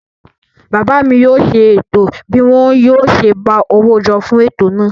Bàbá mi yóò ṣe ètò bí wọn yóò ṣe gba owó jọ fún ètò náà.